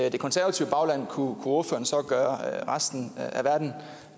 i det konservative bagland kunne ordføreren så gøre resten